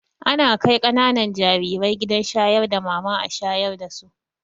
Ana kai ƙananan jarire gidan shayar da mama a shayar dasu